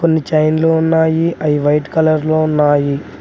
కొన్ని చైన్లు ఉన్నాయి అవి వైట్ కలర్ లో ఉన్నాయి.